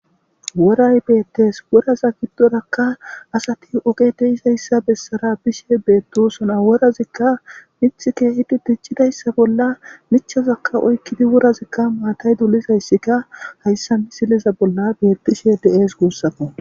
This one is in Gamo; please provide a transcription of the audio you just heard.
Worrayi bettesi worrata giddorakka assati oge diza bessara bishe betoossona worazika mithi kehi gujidayissa mithaza oyikidi matta dolishe dizayissa ha misileyi bessesikko